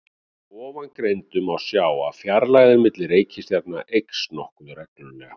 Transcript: Af ofangreindu má sjá að fjarlægðin milli reikistjarnanna eykst nokkuð reglulega.